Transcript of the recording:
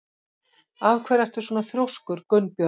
Af hverju ertu svona þrjóskur, Gunnbjörg?